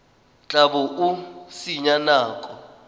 tla bo o senya nako